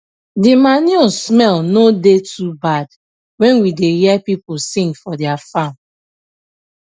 de manure smell no da too bad when we da hear pipu sing for dia farm